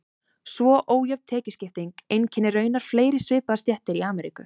Svo ójöfn tekjuskipting einkennir raunar fleiri svipaðar stéttir í Ameríku.